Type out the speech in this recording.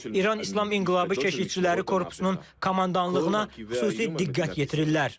İran İslam İnqilabı Keşikçiləri Korpusunun komandanlığına xüsusi diqqət yetirirlər.